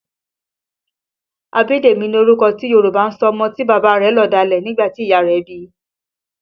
Abidemi ni orúkọ tí Yòrùbá ń sọ ọmọ tí bàbá rẹ̀ lọ̀dálẹ̀ nígbà tí ìyá rẹ̀ bí i